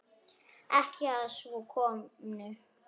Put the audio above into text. Ekki að svo komnu.